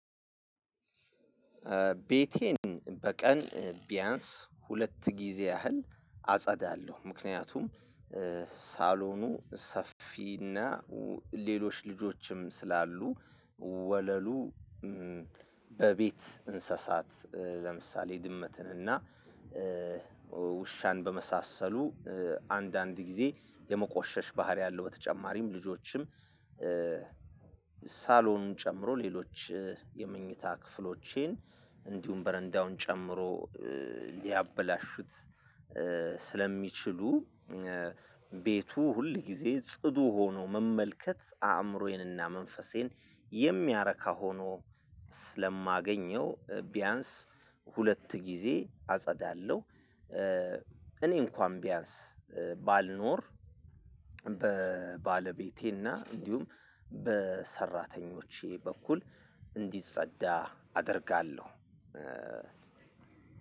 ቤቴን በቀን ቢያንስ ሁለት ጊዜ ያህል አጸዳለሁ ምክንያቱም ሳሎኑ ሰፊና ሌሎች ልጆችም ስላሉ ወለሉ በቤት እንስሳት ለምሳሌ ድመትን እና ውሻን በመሳሰሉ አንዳንድ ጊዜ የመቆሸሽ ባህሪ አለው በተጨማሪም ልጆችም ሳሎኑን ጨምሮ ሌሎች የመኝታ ክፍሎቼን፣ እንዲሁም በረንዳውን ጨምሮ ሊያበላሹት ስለሚችሉ ቤቱ ሁል ጊዜ ጽዱ ሆኖ መመልከት አእምሮዬንና መንፈሴን የሚያረካ ሆኖ ስለማገኘው፣ ቢያንስ ሁለት ጊዜ አጸዳለሁ። እኔ እንኳን ቢያንስ ባልኖር በባለቤቴ እና እንዲሁም በሰራተኞቼ በኩል እንዲጸዳ አደርጋለሁ።